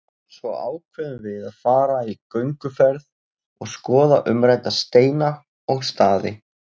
Svo ákveðum við að fara í gönguferð og skoða umrædda steina og staði.